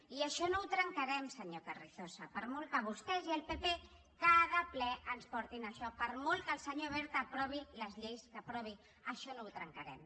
i això no ho trencarem senyor carrizosa per molt que vostès i el pp cada ple ens portin això per molt que el senyor wert aprovi les lleis que aprovi això no ho trencarem